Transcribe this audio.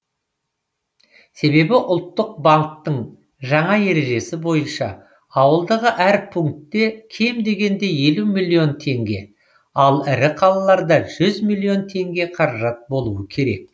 себебі ұлттық банктің жаңа ережесі бойынша ауылдағы әр пункте кем дегенде елу миллион теңге ал ірі қалаларда жүз миллион теңге қаражат болуы керек